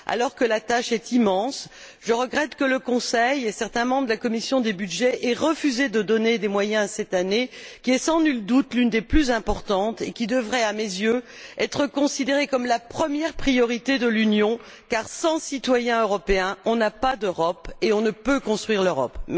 Alors que la tâche est immense, je regrette que le Conseil et certains membres de la commission des budgets aient refusé de donner des moyens à cette Année qui est, sans nul doute, l'une des plus importantes, et qui devrait, à mes yeux, être considérée comme la première priorité de l'Union car, sans citoyens européens, on n'a pas d'Europe et on ne peut construire l'Europe.